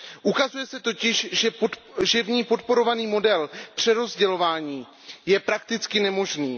Ukazuje se totiž, že v ní podporovaný model přerozdělování je prakticky nemožný.